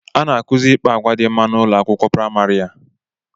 A na-akuzi ikpa agwa dị mma n'ụlọ akwụkwọ praịmarị a